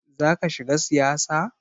Zaka shiga siyasa?